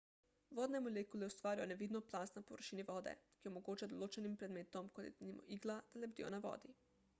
vodne molekule ustvarijo nevidno plast na površini vode ki omogoča določenim predmetom kot je denimo igla da lebdijo na vodi